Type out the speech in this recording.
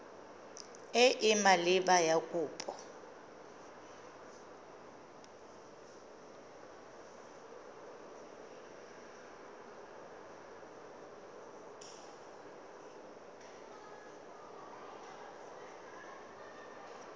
e e maleba ya kopo